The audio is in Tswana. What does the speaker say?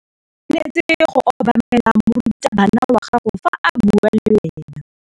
O tshwanetse go obamela morutabana wa gago fa a bua le wena.